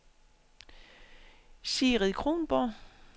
Sigrid Kronborg